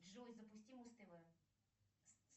джой запусти муз тв